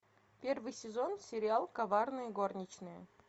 первый сезон сериал коварные горничные